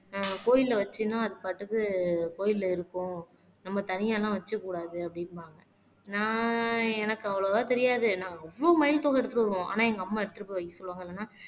ஆஹ் கோயில்ல வச்சீங்கன்னா அது பாட்டுக்கு கோயில்ல இருக்கும் நம்ம தனியா எல்லாம் வச்சுக்க கூடாது அப்படிம்பாங்க நான் எனக்கு அவ்வளவா தெரியாது நான் அவ்ளோ மயில் தோகை எடுத்துட்டு வருவோம் ஆனா எங்க அம்மா எடுத்துட்டு போய் வைக்க சொல்லுவாங்க இல்லன்னா